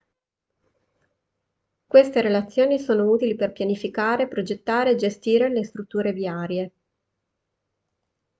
queste relazioni sono utili per pianificare progettare e gestire le strutture viarie